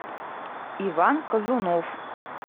иван казунов